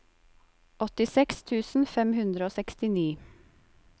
åttiseks tusen fem hundre og sekstini